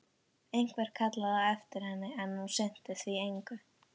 Einhver kallaði á eftir henni, en hún sinnti því engu.